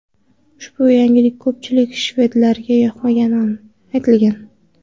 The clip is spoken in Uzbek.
Ushbu yangilik ko‘pchilik shvedlarga yoqmagani aytilgan.